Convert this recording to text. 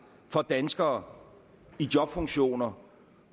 for danskere i jobfunktioner